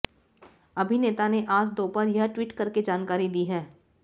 अभिनेता ने आज दोपहर यह ट्वीट करके जानकारी दी है